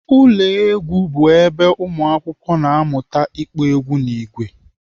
Ụlọ egwu bụ ebe ụmụakwụkwọ na-amụta ịkpọ egwu n'ìgwè